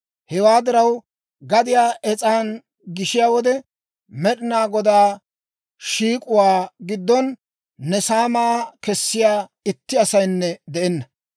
Hewaa diraw, gadiyaa es's'an gishiyaa wode, Med'ina Godaa shiik'uwaa giddon ne saamaa kessiyaa itti asaynne de'enna.